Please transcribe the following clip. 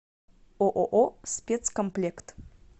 ооо спецкомплект